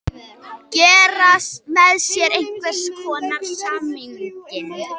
Gera með sér einhvers konar samning.